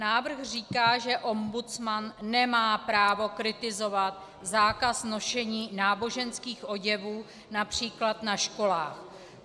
Návrh říká, že ombudsman nemá právo kritizovat zákaz nošení náboženských oděvů například na školách.